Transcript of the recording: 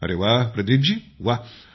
अरे वाह